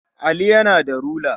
Ali yana da rula.